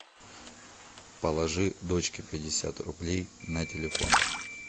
положи дочке пятьдесят рублей на телефон